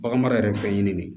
Bagan mara yɛrɛ fɛn ɲini de